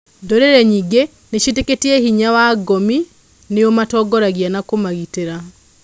Ndũrĩrĩ nyingĩ nĩcietĩkĩtie hinya wa ngomi nĩũmatongoragia na kũmagitĩra.